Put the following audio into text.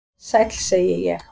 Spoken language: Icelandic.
"""Sæll, segi ég."""